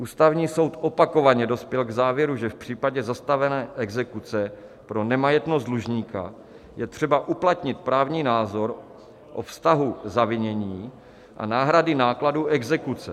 Ústavní soud opakovaně dospěl k závěru, že v případě zastavené exekuce pro nemajetnost dlužníka je třeba uplatnit právní názor o vztahu zavinění a náhrady nákladů exekuce.